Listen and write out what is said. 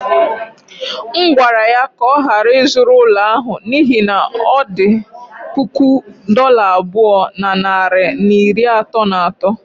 M gwara ya ka ọ ghara ịzụrụ ụlọ ahụ n’ihi na ọ dị puku dollar abụọ na narị na iri atọ na atọ.